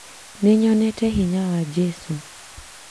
Nĩnyonete hinya wa jesũ